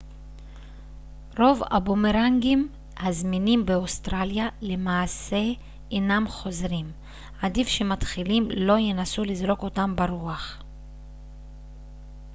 רוב הבומרנגים הזמינים באוסטרליה למעשה אינם חוזרים עדיף שמתחילים לא ינסו לזרוק אותם ברוח